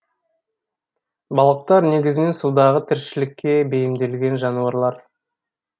балықтар негізінен судағы тіршілікке бейімделген жануарлар